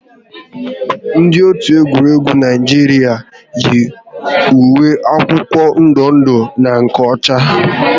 Ndị otu egwuregwu Naijiria yi uwe akwụkwọ ndụ ndụ na nke ọcha